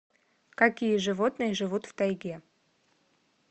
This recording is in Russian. какие животные живут в тайге